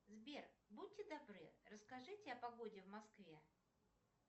сбер будьте добры расскажите о погоде в москве